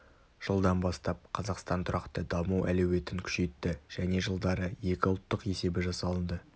жылдан бастап қазақстан тұрақты даму әлеуетін күшейтті және жылдары екі ұлттық есебі жасалынды